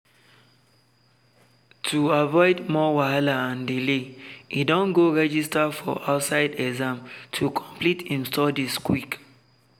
to avoid more wahala and delay e don go register for outside exam to complete him studies quick.